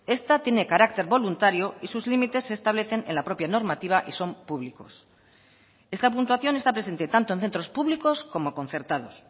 esta tiene carácter voluntario y sus límites se establecen en la propia normativa y son públicos esta puntuación está presente tanto en centros públicos como concertados